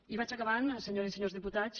i vaig acabant senyores i senyors diputats